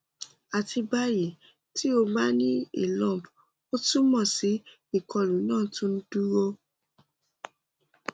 ati bayi ti o ba ni a lump o tumọ si ikolu naa tun n duro